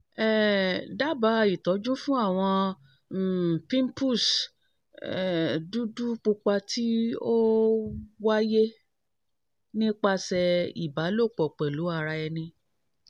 um daba itọju fun awọn um pimples um dudu pupa ti o waye nipasẹ iba lopo pelu ara eni